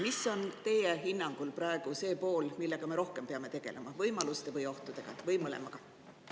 Mis on teie hinnangul praegu see pool, millega me rohkem peame tegelema, kas võimaluste või ohtudega või mõlemaga?